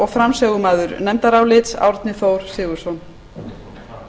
frú forseti ég mæli hér fyrir nefndaráliti á